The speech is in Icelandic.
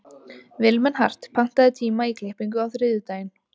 Vilmenhart, pantaðu tíma í klippingu á þriðjudaginn.